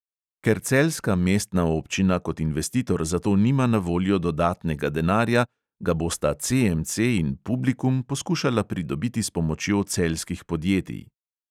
Ker celjska mestna občina kot investitor za to nima na voljo dodatnega denarja, ga bosta CMC in publikum poskušala pridobiti s pomočjo celjskih podjetij.